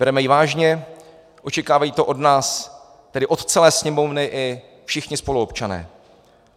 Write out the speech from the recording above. Bereme ji vážně, očekávají to od nás, tedy od celé Sněmovny, i všichni spoluobčané.